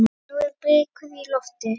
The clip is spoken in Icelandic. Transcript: Nú eru blikur á lofti.